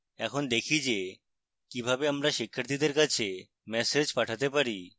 এখন দেখি যে কিভাবে আমরা শিক্ষার্থীদের কাছে ম্যাসেজ পাঠাতে পারি